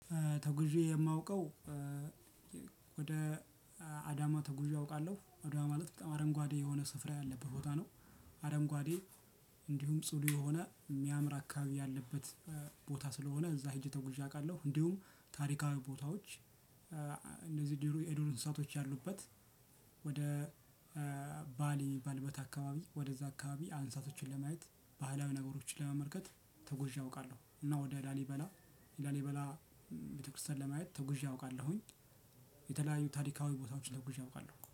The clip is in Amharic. ተጉዤ የማውቀው ወደ አዳማ ተጉዤ አውቃለሁ ወደ ማለት በጣም አረንጓዴ የሆነ ስፍራ ያለበት ቦታ ነው። አረንጓዴ እንዲሁም ጽዱ የሆነ የሚያምር አካባቢ ያለበት ቦታ ስለሆነ እዛ ሄጄ ተጉዤ አውቃለሁ። እንዲሁም ታሪካዊ ቦታዎች እነዚህ ዱር የዱር እንስሳቶች ያሉበት። ወደ ባሊ ባልበታ አካባቢ ወደዛ አካባቢ እንሳቶችን ለማየት ባህላዊ ነገሮችን ለመመልከት ተጉዤ አውቃለሁ። እና ወደ ላሊበላ ላሊበላ ቤተክርስቲያን ለማየት ተጉዤ አውቃለሁኝ። የተለያዩ ታሪካዊ ቦታዎችን ተጉዤ አውቃለሁ